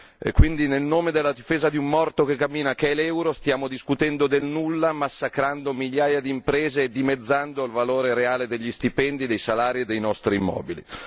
E quindi, nel nome della difesa di un morto che cammina che è l'euro, stiamo discutendo del nulla massacrando migliaia di imprese e dimezzando il valore reale degli stipendi, dei salari e dei nostri immobili.